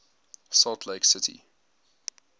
salt lake city